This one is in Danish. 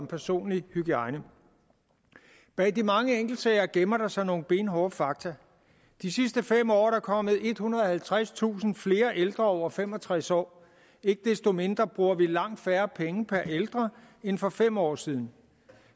personlig hygiejne bag de mange enkeltsager gemmer der sig nogle benhårde fakta de sidste fem år er der kommet ethundrede og halvtredstusind flere ældre over fem og tres år ikke desto mindre bruger vi langt færre penge per ældre end for fem år siden